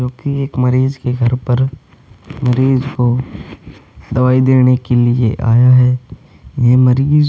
क्योंकि एक मरीज के घर पर मरीज को दवाई देने के लिए आया है। यह मरीज --